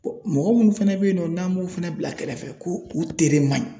mɔgɔ minnu fɛnɛ bɛ yen nɔ n'an b'u fana bila kɛrɛfɛ ko u tere man ɲi.